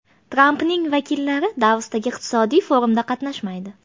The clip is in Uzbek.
Trampning vakillari Davosdagi iqtisodiy forumda qatnashmaydi.